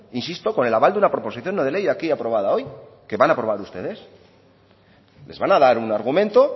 insisto con el aval de una proposición no de ley aquí aprobada hoy que van aprobar ustedes les van a dar un argumento